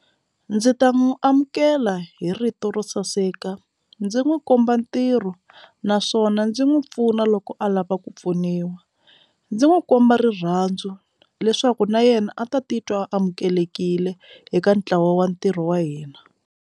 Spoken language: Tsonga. Ndzi ta n'wi amukela hi rito ro saseka ndzi n'wi komba ntirho naswona ndzi n'wi pfuna loko a lava ku pfuniwa ndzi n'wi komba rirhandzu leswaku na yena a ta titwa amukelekile eka ntlawa wa ntirho wa hina.